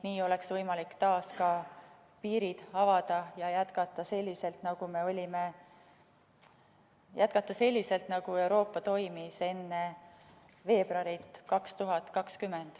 Nii oleks võimalik taas piirid avada ja jätkata selliselt, nagu Euroopa toimimis enne veebruari 2020.